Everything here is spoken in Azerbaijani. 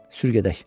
Sür gedək.